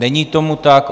Není tomu tak.